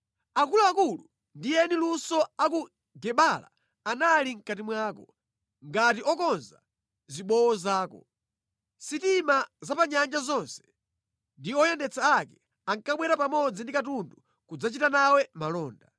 Akuluakulu ndi eni luso a ku Gebala anali mʼkati mwako, ngati okonza zibowo zako. Sitima za pa nyanja zonse, ndi oyendetsa ake ankabwera pamodzi ndi katundu kudzachita nawe malonda.